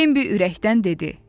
Bembi ürəkdən dedi.